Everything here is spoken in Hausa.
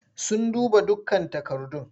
Sun duba dukkan takardun.